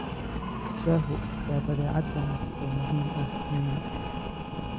Shaahu waa badeecad ganacsi oo muhiim ah Kenya.